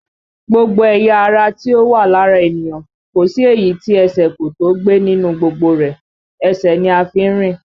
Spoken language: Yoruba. Gbogbo ẹ̀yà ara tí ó wà lára ènìyàn, kò sí èyí tí ẹsẹ̀ kò tó ó gbé nínú gbogbo rẹ̀, ẹsẹ̀ ni a fi ń rìn